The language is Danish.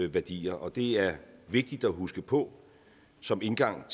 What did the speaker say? værdier og det er vigtigt at huske på som indgang